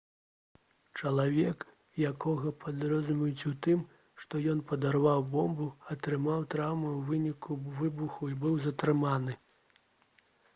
чалавек якога падазраюць у тым што ён падарваў бомбу атрымаў траўмы ў выніку выбуху і быў затрыманы